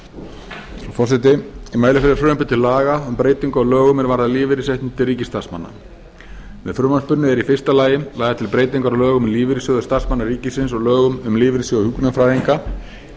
frú forseti ég mæli fyrir frumvarpi til laga um breyting á lögum er varða lífeyrisréttindi ríkisstarfsmanna með frumvarpinu eru í fyrsta lagi lagðar til breytingar á lögum um lífeyrissjóði starfsmanna ríkisins og lögum um lífeyrissjóð hjúkrunarfræðinga í